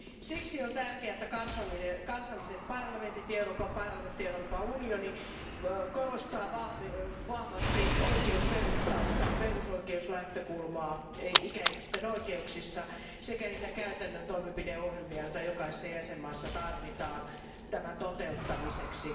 Siksi on tärkeää, että kansalliset parlamentit, Euroopan parlamentti ja Euroopan unioni korostavat vahvasti oikeusperustaista perusoikeusnäkökulmaa ikäihmisten oikeuksissa sekä niitä käytännön toimenpideohjelmia, joita jokaisessa jäsenvaltiossa tarvitaan tämän toteuttamiseksi.